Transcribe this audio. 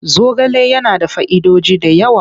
Zogale yana da fa'idoji da yawa.